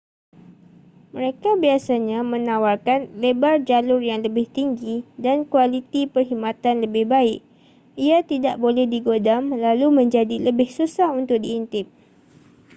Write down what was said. mereka biasanya menawarkan lebar jalur yang lebih tinggi dan kualiti perkhidmatan lebih baik ia tidak boleh digodam lalu menjadi lebih susah untuk diintip